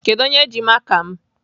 Kedụ onye ji maka m?